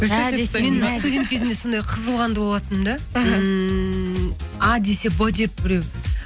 студент кезімде сондай қызу қанды болатынмын да іхі ммм а десе б деп біреу